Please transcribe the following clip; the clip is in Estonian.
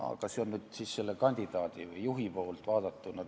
Aga see on nii selle kandidaadi või juhi poolt vaadatuna.